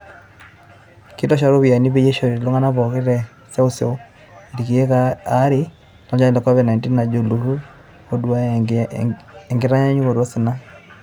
Kitosha ropiyiani peyie ishori oltungani pooki te seuseu ilkeek aare lolchani le Covid-19, ejo olturur, oduaya enkitayunoto osina.